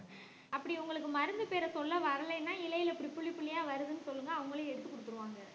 அப்படி உங்களுக்கு மருந்து பேரை சொல்ல வரலைன்னா இலையில இப்படி புள்ளி புள்ளிய வருதுன்னு சொல்லுங்க அவங்களே எடுத்து கொடுத்துருவாங்க